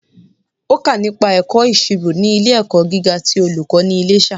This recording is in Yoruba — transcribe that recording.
Ó kà nípa ẹ̀kọ́ ìsirò ní ilé ẹ̀kọ́ gíga ti olùkó ní Iléṣà